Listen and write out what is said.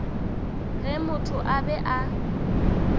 ge motho a be a